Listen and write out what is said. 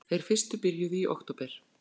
Þeir fyrstu byrjuðu í október